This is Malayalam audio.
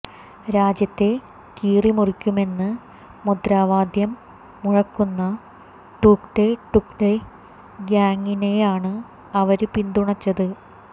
രാജ്യത്തെ കീറി മുറിക്കുമെന്ന് മുദ്രാവാദ്യം മുഴക്കുന്ന ടുക്ഡേ ടുക്ഡേ ഗ്യാങ്ങിനെയാണ് അവര് പിന്തുണച്ചത്